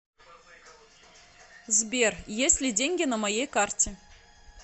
сбер есть ли деньги на моей карте